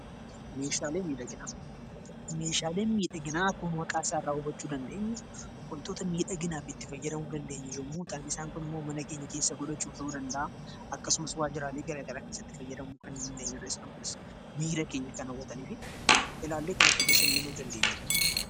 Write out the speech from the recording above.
Meeshaaleen miidhaginaa kan isaaniraa hubachuu dandeenyu wantoota miidhaginaaf itti fayyadamuu dandeenyu yommuu ta'an isaan kaan immoo mana keenya ta'uu danda'a. Akkasumas waajjiraalee garaagaraa keessatti fayyadamuu kan dandeenyudha. Isaanis miira keenya kan hawwatanii fi ilaallee kan itti bashannanuu dandeenyudha.